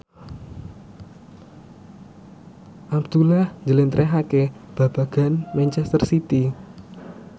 Abdullah njlentrehake babagan manchester city